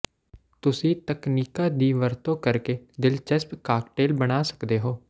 ਤੁਸੀਂ ਤਕਨੀਕਾਂ ਦੀ ਵਰਤੋਂ ਕਰਕੇ ਦਿਲਚਸਪ ਕਾਕਟੇਲ ਬਣਾ ਸਕਦੇ ਹੋ